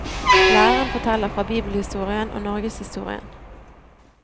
Læreren forteller fra bibelhistorien og norgeshistorien.